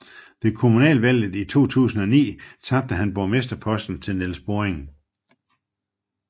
Ved kommunalvalget i 2009 tabte han borgmesterposten til Nils Borring